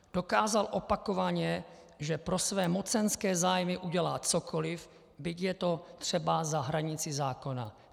Dokázal opakovaně, že pro své mocenské zájmy udělá cokoliv, byť je to třeba za hranicí zákona.